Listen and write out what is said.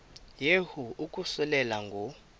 yehu ukususela ngo